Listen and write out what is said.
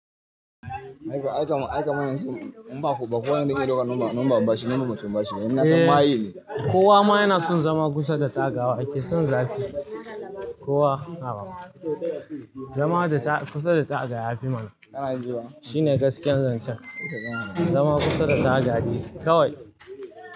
Aikaman, aikaman, yanzu ne. In ba ku bako wayanda za su ɗauka, in ba, in ba babba shi, nan ba mutum ba shine. Ina son ma'a yi ne. Kowa ma yana son zama kusa da taga, yake son zafi. Kowa, nawa. Zama da taƙa, kusa da taƙa yafi mana. Shine gaskiyar zancen. Zama kusa da taga daii, kawai.